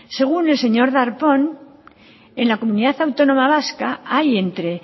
según el señor darpón en la comunidad autónoma vasca hay entre